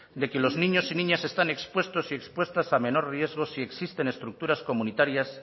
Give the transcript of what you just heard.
de que los niños y niñas están expuestos y expuestas a menor riesgo si existen estructuras comunitarias